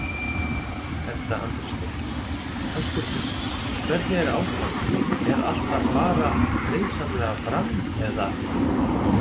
Edda Andrésdóttir: Höskuldur, hvernig er ástandið, er allt að fara friðsamlega fram eða?